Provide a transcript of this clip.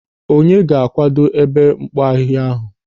Onye ga-akwado ebe mkpo ahịhịa ahụ?